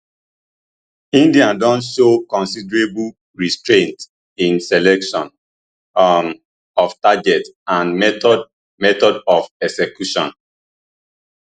india don show considerable restraint in selection um of targets and method method of execution